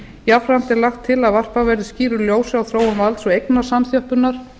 jafnframt er lagt til að varpað verði skýru ljósi á þróun valds og eignasamþjöppunar